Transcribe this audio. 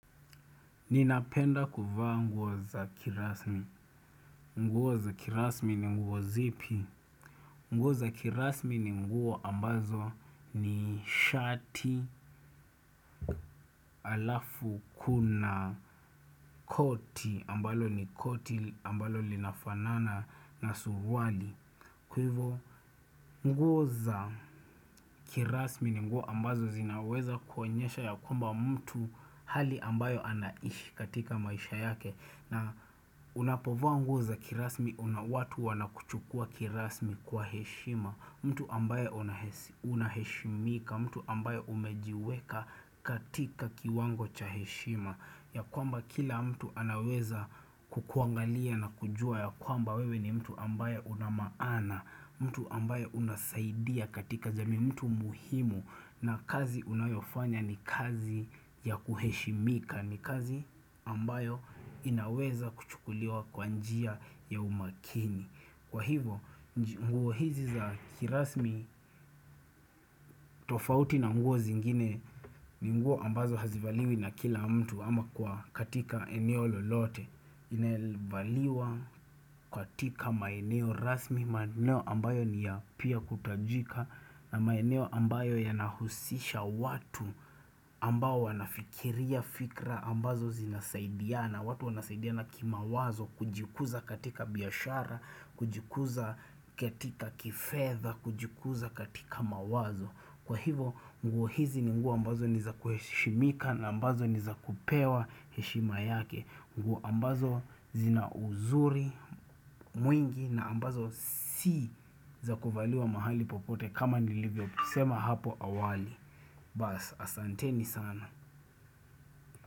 Ninapenda kuvaa nguo za kirasmi. Nguo za kirasmi ni nguo zipi. Nguo za kirasmi ni nguo ambazo ni shati alafu kuna koti ambalo ni koti ambalo linafanana na suruali. Kuivo nguo za kirasmi ni nguo ambazo zinaweza kuonyesha ya kwamba mtu hali ambayo anaishi katika maisha yake na unapovaa nguo za kirasmi unawatu wanakuchukua kirasmi kwa heshima mtu ambayo unahesi unaheshimika, mtu ambayo umejiweka katika kiwango cha heshima ya kwamba kila mtu anaweza kukuangalia na kujua ya kwamba wewe ni mtu ambaye una maana mtu ambayo unasaidia katika jamii mtu muhimu na kazi unayoifanya ni kazi ya kuheshimika ni kazi ambayo inaweza kuchukuliwa kwa njia ya umakini Kwa hivo nguo hizi za kirasmi tofauti na nguo zingine ni nguo ambazo hazivaliwi na kila mtu ama kwa katika eneo lolote Inevaliwa katika maeneo rasmi maeneo ambayo ni ya pia kutajika na maeneo ambayo yanahusisha watu ambao wanafikiria fikra ambazo zinasaidiana watu wanasaidiana kimawazo kujikuza katika biashara kujikuza katika kifedhea kujikuza katika mawazo Kwa hivo nguo hizi ni nguo ambazo ni za kuheshimika na ambazo ni za kupewa heshima yake nguo ambazo zina unzuri mwingi na ambazo si za kuvaliwa mahali popote kama nilivyosema hapo awali Basi asanteni sana.